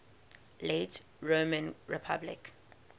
late roman republic